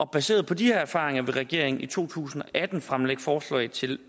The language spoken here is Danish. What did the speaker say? baseret på de erfaringer vil regeringen i to tusind og atten fremlægge forslag til